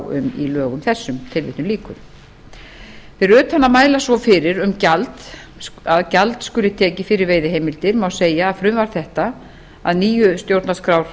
um í lögum þessum tilvitnun lýkur fyrir utan að mæla svo fyrir um að gjald skuli tekið fyrir veiðiheimildir má segja að frumvarp þetta að nýju stjórnarskrárákvæði